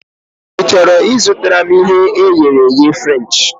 Ị chọrọ I zụtara m ihe e ghere eghe Frenchị?